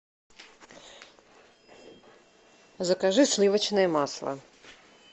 закажи сливочное масло